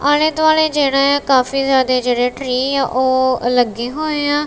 ਆਲ਼ੇ ਦੁਆਲੇ ਜੇਹੜੇ ਆਂ ਕਾਫੀ ਜਿਆਦੇ ਜੇਹੜੇ ਟ੍ਰੀ ਓਹ ਲੱਗੇ ਹੋਏਂ ਆਂ।